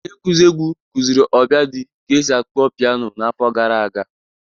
Onye nkuzi egwu kuziri Obiadi ka esi akpọ piano n'afọ gara aga